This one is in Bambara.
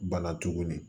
Bana tuguni